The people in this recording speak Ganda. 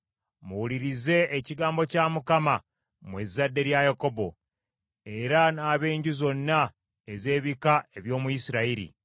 Muwulirize ekigambo kya Mukama mwe ezzadde lya Yakobo, era n’ab’enju zonna ez’ebika eby’omu Isirayiri.